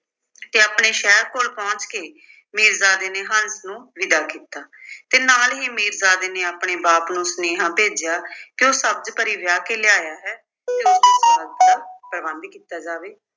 ਤੇ ਆਪਣੇ ਸ਼ਹਿਰ ਕੋਲ ਪਹੁੰਚ ਕੇ ਮੀਰਜ਼ਾਦੇ ਨੇ ਹੰਸ ਨੂੰ ਵਿਦਾ ਕੀਤਾ ਤੇ ਨਾਲ ਹੀ ਮੀਰਜ਼ਾਦੇ ਨੇ ਆਪਣੇ ਬਾਪ ਨੂੰ ਸੁਨੇਹਾ ਭੇਜਿਆ ਕਿ ਉਹ ਸਬਜ਼ ਪਰੀ ਵਿਆਹ ਕੇ ਲਿਆਇਆ ਹੈ ਤੇ ਉਸਦੇ ਨਿਵਾਸ ਦਾ ਪ੍ਰਬੰਧ ਕੀਤਾ ਜਾਵੇ